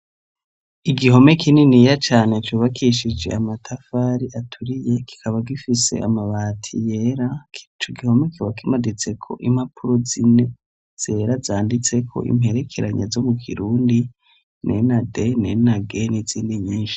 Igihome kininiya cane cubakishije amatafari aturiye, kikaba gifise amabati yera, ico gihome kiba kimaditseko impapuro zine zera zanditseko imperekeranya zo mu kirundi "N" na "D" n'izindi nyinshi.